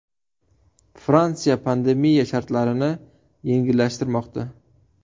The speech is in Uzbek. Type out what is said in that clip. Fransiya pandemiya shartlarini yengillashtirmoqda.